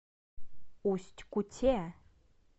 усть куте